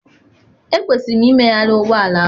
Ekwesịrị m imegharị ụgbọ ala ahụ.